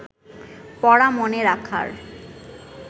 পড়া মনে রাখার